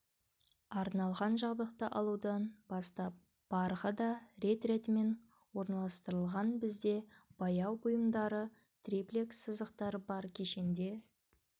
арналған жабдықты алудан бастап барығы да рет-ретімен орналастырылған бізде бояу бұйымдары триплекс сызықтары бар кешенде